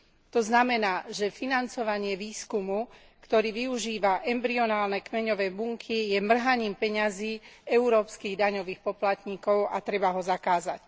To znamená, že financovanie výskumu, ktorý využíva embryonálne kmeňové bunky, je mrhaním peňazí európskych daňových poplatníkov a treba ho zakázať.